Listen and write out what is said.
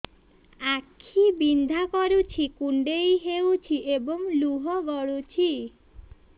ଆଖି ବିନ୍ଧା କରୁଛି କୁଣ୍ଡେଇ ହେଉଛି ଏବଂ ଲୁହ ଗଳୁଛି